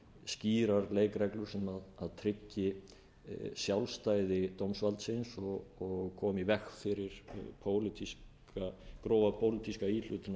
skýrar leikreglur sem tryggi sjálfstæði dómsvaldsins og komi í veg fyrir grófa pólitíska íhlutun af því